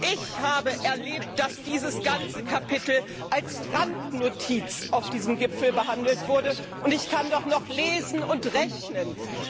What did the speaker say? Ich habe erlebt, dass dieses ganze Kapitel als Randnotiz auf diesem Gipfel behandelt wurde, und ich kann doch noch lesen und rechnen.